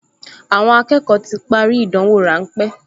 Àwọn akẹ́kọ̀ọ ti parí ìdánwò ráńpẹ́